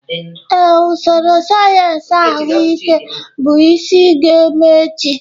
Ee, usoro sayensị ahụike bụ isi ga-eme echi.